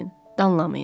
danlamayın.